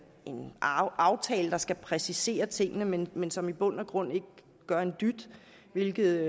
en aftale der skal præcisere tingene men men som i bund og grund ikke gør en dyt hvilket